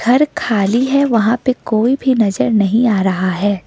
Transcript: घर खाली है वहां पे कोई भी नजर नहीं आ रहा है।